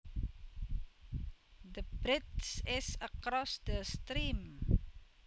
The bridge is across the stream